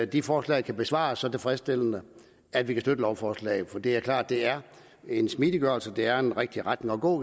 de forslag kan besvares så tilfredsstillende at vi kan støtte lovforslaget for det er klart det er en smidiggørelse det er den rigtige retning at gå